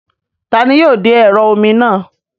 Taani yóò de ẹ̀rọ omi náà?